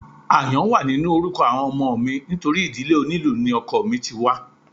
Àyàn wà nínú orúkọ àwọn ọmọ mi nítorí ìdílé onílù ni ọkọ mi ti wá